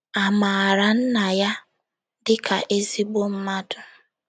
A maara Nna ya dịka ezigbo mmadụ